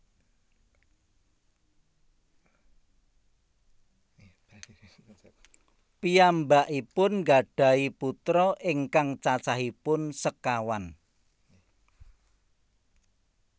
Piyambakipun nggadhahi putra ingkang cacahipun sekawan